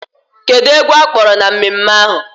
Kedụ egwu ha kpọrọ na mmemme ahụ?